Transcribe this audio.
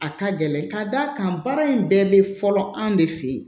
A ka gɛlɛn ka d'a kan baara in bɛɛ bɛ fɔlɔ anw de fe yen